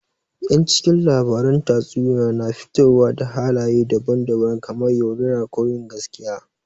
Yan cikin labaran tatsuniya na fitowa da halaye daban daban kamar yaudara, ko yin gaskiya